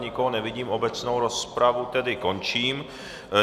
Nikoho nevidím, obecnou rozpravu tedy končím.